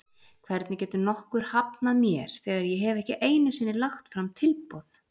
Hvernig getur nokkuð hafnað mér þegar ég hef ekki einu sinni lagt fram tilboð?